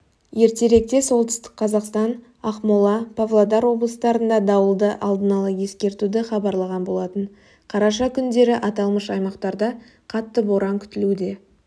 ертеректе солтүстік қазақстан ақмола павлодар облыстарында дауылды алдын ала ескертуді хабарлаған болатын қараша күндері аталмыш аймақтарда қатты боран күтілуде